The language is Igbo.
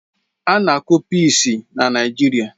A ga-akụ pịịsi na Naijiria